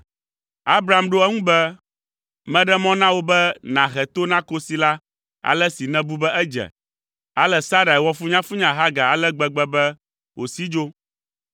Abram ɖo eŋu be, “Meɖe mɔ na wò be nàhe to na kosi la ale si nèbu be edze.” Ale Sarai wɔ funyafunya Hagar ale gbegbe be wòsi dzo.